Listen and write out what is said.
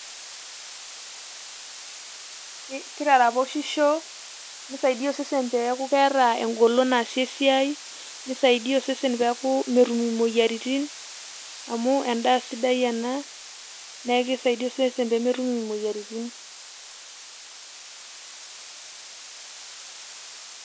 kitaraposhisho nisaidia osesen peku keeta engolon naasie esiai ,nisaidia osesen peku metum imoyiaritin amu endaa sidai ena neku kisaidia osesen pemetum imoyiritin .